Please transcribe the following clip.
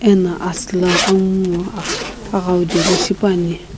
ena asü la angu ngo aghawu jeli shipuani.